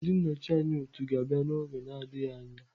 Ndị nnọchi anya otu ga-abịa n'oge adịghị anya